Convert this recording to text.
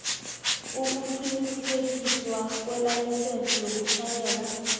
ukuqinisekiswa kwelayisense yokutjhayela